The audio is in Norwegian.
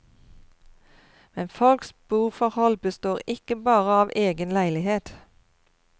Men folks boforhold består ikke bare av egen leilighet.